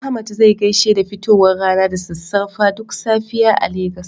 Ahmad zai gaishe da fitowar rana da sassarfa duk safiya a Legas.